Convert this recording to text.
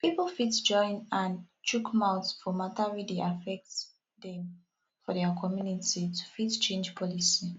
pipo fit join hand chook mouth for mata wey dey affect dem for their community to fit change policy